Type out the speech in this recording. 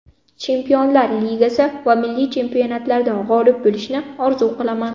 Chempionlar Ligasi va milliy chempionatlarda g‘olib bo‘lishni orzu qilaman.